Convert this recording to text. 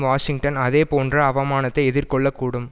Washington அதேபோன்ற அவமானத்தை எதிர்கொள்ள கூடும்